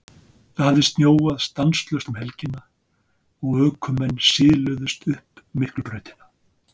Það hafði snjóað stanslaust um helgina og ökumenn siluðust upp Miklubrautina.